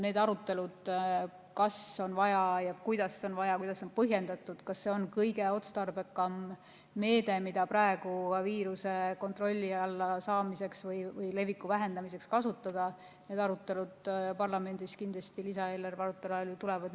Need arutelud, kas on vaja ja kuidas on vaja ja kuidas on põhjendatud, kas see on kõige otstarbekam meede, mida praegu viiruse kontrolli alla saamiseks või leviku vähendamiseks kasutada, need arutelud parlamendis kindlasti lisaeelarve arutelu ajal tulevad.